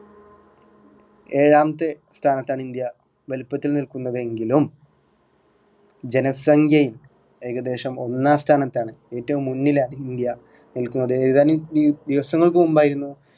ഏഴാമത്തെ സ്ഥാനത്താണ് ഇന്ത്യ വലിപ്പത്തില് നിൽക്കുന്നതെങ്കിലും ജനസംഖ്യയിൽ ഏകദേശം ഒന്നാം സ്ഥാനത്താണ് ഏറ്റവും മുന്നിലാണ് ഇന്ത്യ നിൽക്കുന്നത് ഏർ ഏതാനും ദിവ് ദിവസങ്ങൾക്ക് മുമ്പായിരുന്നു